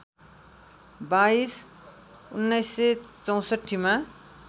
२२ १९६४ मा